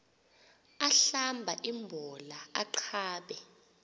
ahlamba imbola aqabe